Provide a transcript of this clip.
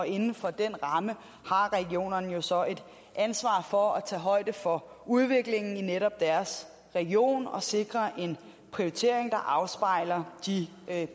inden for den ramme har regionerne jo så et ansvar for at tage højde for udviklingen i netop deres region og sikre en prioritering der afspejler de